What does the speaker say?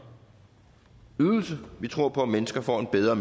ydelse for vi tror på at mennesker får en bedre